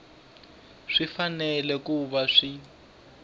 swi fanele ku va swi